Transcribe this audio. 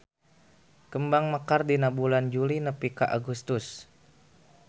Kembang mekar dina bulan Juli nepi ka Agustus.